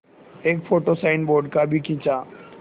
एक photo signboard का भी खींचा